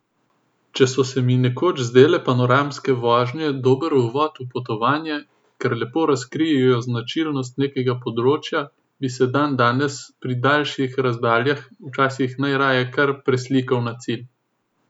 Če so se mi nekoč zdele panoramske vožnje dober uvod v potovanje, ker lepo razkrijejo značilnosti nekega področja, bi se dandanes pri daljših razdaljah včasih najraje kar preslikal na cilj.